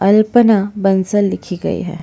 अल्पना बंसल लिखी गई है।